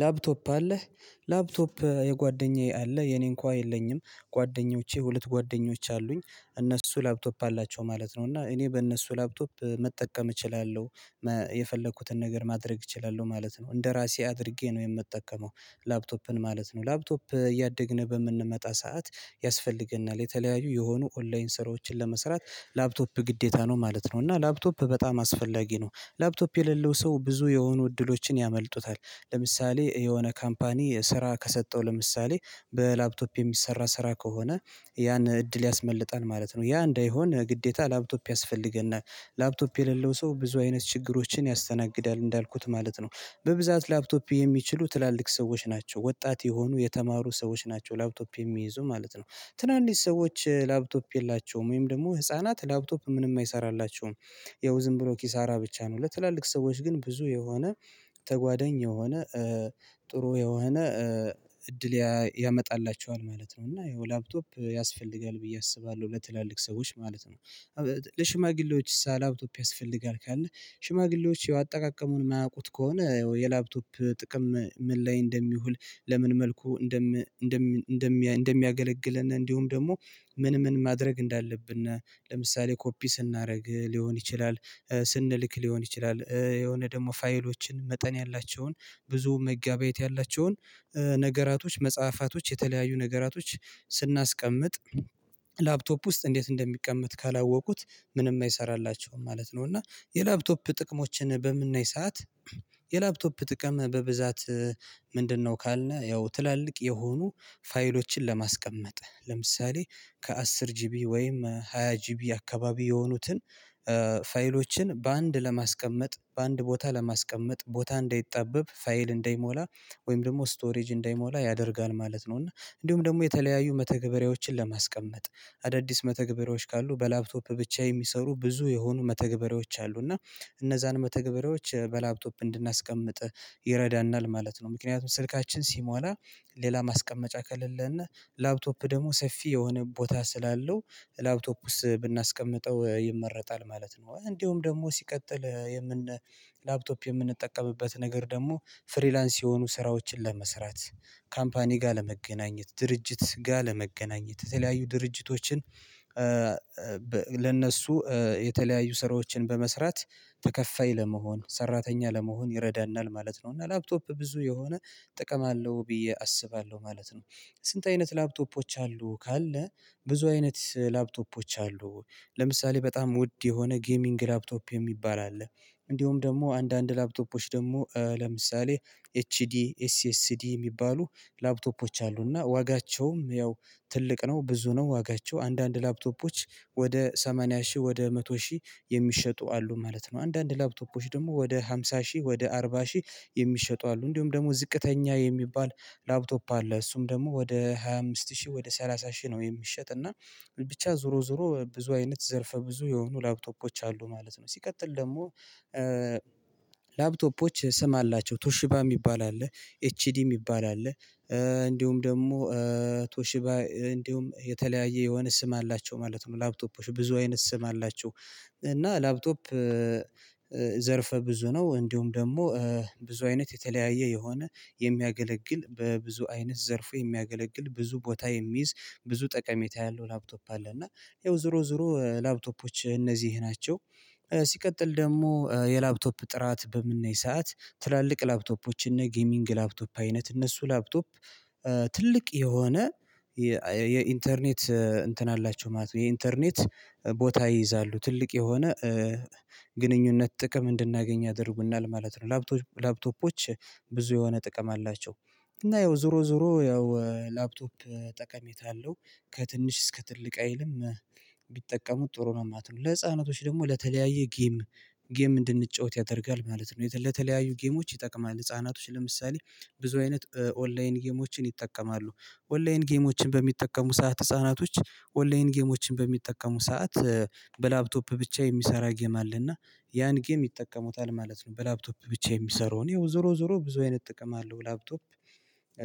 ላፕቶፕ አለህ ላፕቶፕ የጓደኛዬ አለ የኔ እንኳን የለኝም ጓደኞቼ ሁለት ጓደኞች አሉኝ እነሱ ላፕቶፕ አላቸው ማለት ነው እና እኔ በእነሱ ላፕቶፕ መጠቀም እችላለሁ የፈለኩትን ነገር ማድረግ እችላለሁ ማለት ነው። እንደራሴ አድርጌ ነው የምጠቀመው ላፕቶፕን ማለት ነው። ላፕቶፕ እያደግን፣ በምንመጣ ሰዓት ያስፈልገናል። የተለያዩ የሆኑ ኦንላይን ስራዎችን ለመስራት ላፕቶፕ ግዴታ ነው ማለት ነው። እና ላፕቶፕ በጣም አስፈላጊ ነው። ላፕቶፕ የሌለው ሰው ብዙ የሆኑ እድሎችን ያመልጡታል። ለምሳሌ የሆነ ካምፓኒ ስራ ከሰጠው፣ ለምሳሌ በላፕቶፕ የሚሰራ ስራ ከሆነ ያን እድል ያስመልጣል ማለት ነው ያ እንዳይሆን ግዴታ ላፕቶፕ ያስፈልገናል ላፕቶፕ የሌለው ሰው ብዙ አይነት ችግሮችን ያስተናግዳል እንዳልኩት ማለት ነው በብዛት ላፕቶፕ የሚችሉ ትላልቅ ሰዎች ናቸው ወጣት የሆኑ የተማሩ ሰዎች ናቸው ላፕቶፕ የሚይዙ ማለት ነው ትናንሽ ሰዎች ላፕቶፕ የላቸውም ወይም ደሞ ህፃናት ላፕቶፕ ምንም አይሰራላችሁም ያው፣ ዝም ብሎ ኪሳራ ብቻ ነው። ለትላልቅ ሰዎች ግን፣ ብዙ የሆነ ተጓደኝ የሆነ ጥሩ የሆነ እድል ያመጣላቸዋል ማለት ነው እና ያው ላፕቶፕ ያስፈልጋል ብዬ አስባለሁ ለትላልቅ ሰዎች ማለት ነው ለሽማግሌዎች ሳ ላፕቶፕ ያስፈልጋል ካለ ሽማግሌዎች አጠቃቀሙን የማያውቁት ከሆነ የላፕቶፕ ጥቅም ምን ላይ እንደሚውል ለምን መልኩ እንደም እንደም እንደሚያገለግልን እንዲሁም ደሞ ምን ምን ማድረግ እንዳለብን ለምሳሌ ኮፒ ስናርግ ሊሆን ይችላል ስንልክ ሊሆን ይችላል የሆነ ደሞ ፋይሎችን መጠን ያላቸውን ብዙ መጋበያየት ያላቸውን ነገራቶች መጽሐፋቶች የተለያዩ ነገራቶች ስናስቀምጥ ላፕቶፕ ውስጥ እንዴት እንደሚቀመጥ ካላወቁት ምንም አይሰራልላቸውም ማለት ነው እና የላፕቶፕ ጥቅሞችን በምናይ ሰዓት የላፕቶፕ ጥቅም በብዛት ምንድነው ካልነ፣ ያው ትላልቅ የሆኑ ፋይሎችን ለማስቀመጥ፣ ለምሳሌ፣ ከአስር ጂቢ ወይም ሃያ ጂቢ አካባቢ የሆኑትን ፋይሎችን በአንድ ለማስቀመጥ በአንድ ቦታ ለማስቀመጥ ቦታ እንዳይጣበብ ፋይል እንደይሞላ ወይም ደግሞ ስቶሬጅ እንደይሞላ ያደርጋል ማለት ነው እና እንዲሁም ደሞ የተለያዩ መተገበሪያዎችን ለማስቀመጥ አዳዲስ መተግበሪያዎች ካሉ በላፕቶፕ ብቻ የሚሰሩ ብዙ የሆኑ መተግበሪያዎች አሉ እና እነዛን መተግበሪያዎች በላፕቶፕ እንድናስቀምጥ ይረዳናል ማለት ነው ምክንያቱም ስልካችን ሲሞላ ሌላ ማስቀመጫ ከሌለና ላፕቶፕ ደሞ ሰፊ የሆነ ቦታ ስላለው ላፕቶፕ ውስጥ ብናስቀምጠው ይመረጣል ማለት ነው እንደውም ደሞ ሲቀጥል የምን ላፕቶፕ የምንጠቀምበት ነገር ደሞ ፍሪላንስ የሆኑ ስራዎችን ለመስራት ካምፓኒ ጋር ለመገናኘት ድርጅት ጋር ለመገናኘት የተለያዩ ድርጅቶችን ለእነሱ የተለያዩ ስራዎችን በመስራት ተከፋይ ለመሆን፣ ሰራተኛ ለመሆን ይረዳናል፣ ማለት ነው። እና ላፕቶፕ ብዙ የሆነ ጥቅም አለው ብዬ አስባለሁ። ማለት ነው፣ ስንት አይነት ላፕቶፖች አሉ ካለ ብዙ አይነት ላፕቶፖች አሉ ለምሳሌ፣ በጣም ውድ የሆነ ጌሚንግ ላፕቶፕ የሚባል አለ እንዲሁም ደሞ አንዳንድ ላፕቶፖች ደሞ ለምሳሌ፣ ኤች ዲስኤስዲ የሚባሉ ላፕቶፖች አሉ እና ዋጋቸውም ያው ትልቅ ነው ብዙ ነው ዋጋቸው አንዳንድ ላፕቶፖች ወደ ሰማንያ ሺህ ወደ መቶ ሺህ የሚሸጡ አሉ ማለት ነው አንዳንድ ላፕቶፖች ደሞ ወደ ሃምሳ ሺህ ወደ አርባ ሺህ የሚሸጡ አሉ እንዲሁም ደሞ ዝቅተኛ የሚባል ላፕቶፕ አለ እሱም ደሞ ወደ ሃያ አምስት ሺህ ወደ ሰላሳ ሺህ ነው የሚሸጥ እና ብቻ ዞሮ ዞሮ ብዙ አይነት ዘርፈ ብዙ የሆኑ ላፕቶፖች አሉ ማለት ነው ሲቀጥል ደሞ ላፕቶፖች ስም አላቸው ቱሽባ የሚባል አለ ኤችዲ የሚባል አለ እንዲሁም ደሞ ቶሺባ እንዲሁም የተለያየ የሆነ ስም አላቸው ማለት ነው ላፕቶፖች ብዙ አይነት ስም አላቸው እና ላፕቶፕ ዘርፈ ብዙ ነው እንዲሁም ደሞ ብዙ አይነት የተለያየ የሆነ የሚያገለግል በብዙ አይነት ዘርፌ የሚያገለግል ብዙ ቦታ የሚይዝ ብዙ ጠቀሜታ ያለው ላፕቶፕ አለ እና ይኸው ዞሮ ዞሮ ላፕቶፖች እነዚህ ይሄ ናቸው ሲቀጥል ደሞ የላፕቶፕ ጥራት በምናይ ሰዓት ትላልቅ ላፕቶፖች እነ ጊሚንግ ላፕቶፕ አይነት እነሱ ላፕቶፕ ትልቅ የሆነ የኢንተርኔት እንትን አላችሁ ማለት ነው የኢንተርኔት ቦታ ይይዛሉ ትልቅ የሆነ ግንኙነት ጥቅም እንድናገኝ ያደርጉናል ማለት ነው ላፕቶፖች ብዙ የሆነ ጥቅም አላቸው እና ይው ዞሮ ዞሮ ያው ላፕቶፕ ጠቀሜታ አለው ከትንሽ እስከ ትልቅ አይልም ቢጠቀሙት ጥሩ ነው ማልትነው ለህፃኖች ደሞ ለተለያየ ጌም ጌም እንድንጫወት ያደርጋል ማለት ነው ለተለያዩ ጌሞች ይጠቅማል ህፃናቶች ለምሳሌ ብዙ አይነት ኦንላይን ጌሞችን ይጠቀማሉ ኦንላይን ጌሞችን በሚጠቀሙ ሰዓት ህፃናቶች ኦንላይን ጌሞችን በሚጠቀሙ ሰዓት በላፕቶፕ ብቻ የሚሰራ ጌም አለና ያን ጌም ይጠቀሙታል ማለት ነው በላፕቶፕ ብቻ የሚሰራውን ይኸው ዞሮ ዞሮ ብዙ አይነት ጥቅም አለው ላፕቶፕ